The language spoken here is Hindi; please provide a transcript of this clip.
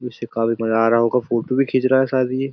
इससे काफी मजा आ रहा होगा। फ़ोटो भी खींच रहा है शायद ये।